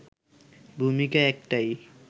ভূমিকা একটাই